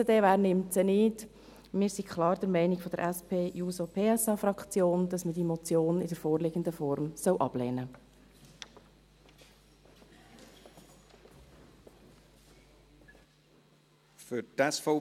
– Wir von der SP-JUSO-PSA-Fraktion sind klar der Meinung, dass man diese Motion in der vorliegenden Form ablehnen soll.